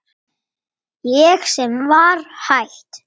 Ég sem var hætt.